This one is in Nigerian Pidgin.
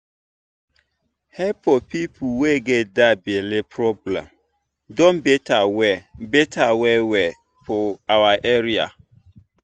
help for people wey get that belle problem don better well better well well for our area.